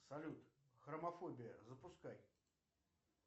салют хромофобия запускай